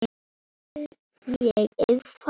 Má treysta þeim?